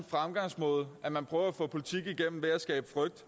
fremgangsmåde at man prøver at få politik igennem ved at skabe frygt